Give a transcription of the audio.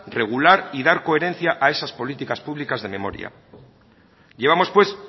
regular y dar coherencia a esas políticas públicas de memoria llevamos pues